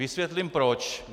Vysvětlím proč.